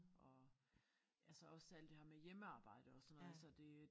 Og altså også alt det her med hjemmearbejde og sådan noget så det